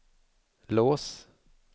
lås